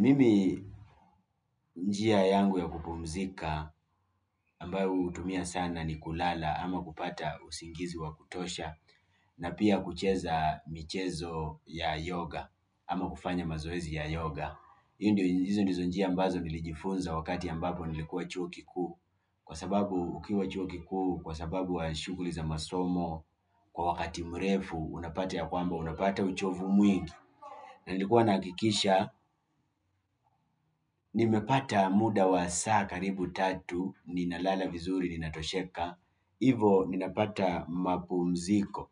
Mimi njia yangu ya kupumzika ambayo hutumia sana ni kulala ama kupata usingizi wa kutosha na pia kucheza michezo ya yoga ama kufanya mazoezi ya yoga. Hio ndio hizo ndizo njia ambazo nilijifunza wakati ambapo nilikuwa chuo kikuu kwa sababu ukiwa chuo kikuu, kwa sababu wa shughuli za masomo kwa wakati mrefu, unapata ya kwamba, unapata uchovu mwingi na nilikuwa nakikisha, nimepata muda wa saa karibu tatu ninalala vizuri, ninatosheka hivo, ninapata mapumziko